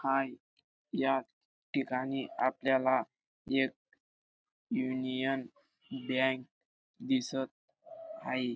हाय या ठिकाणी आपल्याला एक युनियन बँक दिसत हाये .